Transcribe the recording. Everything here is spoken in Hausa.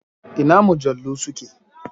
Ina mujallu su ke?